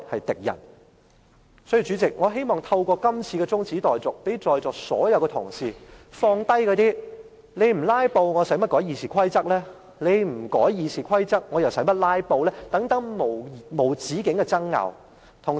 所以，代理主席，我希望透過這項中止待續議案，讓在座所有同事放下諸如"你們不'拉布'，我何須修改《議事規則》"，以及"你不修改《議事規則》，我又何須'拉布'"等永無止境的爭拗。